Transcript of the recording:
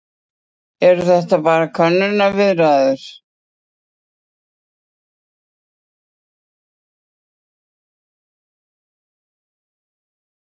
Eru þetta bara könnunarviðræður?